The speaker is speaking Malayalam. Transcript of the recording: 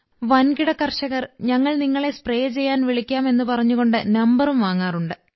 വൻകിട കർഷകർ ഞങ്ങൾ നിങ്ങളെ സ്പ്രേ ചെയ്യാൻ വിളിക്കാം എന്ന് പറഞ്ഞുകൊണ്ട് നമ്പറും വാങ്ങാറുണ്ട്